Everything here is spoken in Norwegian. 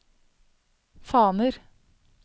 faner